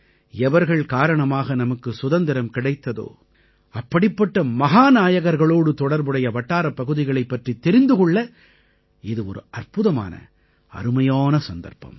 எவர்கள் காரணமாக நமக்கு சுதந்திரம் கிடைத்ததோ அப்படிப்பட்ட மஹாநாயகர்களோடு தொடர்புடைய வட்டாரப் பகுதிகளைப் பற்றித் தெரிந்து கொள்ள இது ஒரு அற்புதமான அருமையான சந்தர்ப்பம்